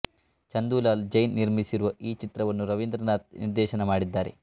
ಚಂದೂಲಾಲ್ ಜೈನ್ ನಿರ್ಮಿಸಿರುವ ಈ ಚಿತ್ರವನ್ನು ರವೀಂದ್ರನಾಥ್ ನಿರ್ದೇಶನ ಮಾಡಿದ್ದಾರೆ